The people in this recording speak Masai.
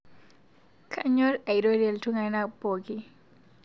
Kainyor airorie ltung'ana pooki